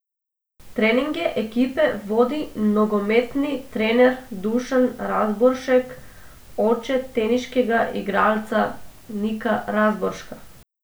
Treninge ekipe vodi nogometni trener Dušan Razboršek, oče teniškega igralca Nika Razborška.